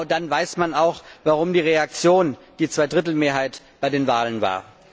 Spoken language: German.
Dann weiß man auch, warum die Reaktion die Zweidrittelmehrheit bei den Wahlen war.